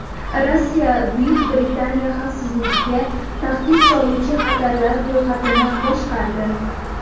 Rossiya Buyuk Britaniya xavfsizligiga tahdid soluvchi xatarlar ro‘yxatini boshqardi.